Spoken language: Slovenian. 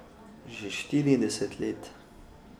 Že štirideset let.